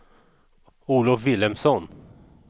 Olov Vilhelmsson